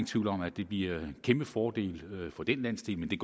tvivl om at det bliver en kæmpe fordel for den landsdel men det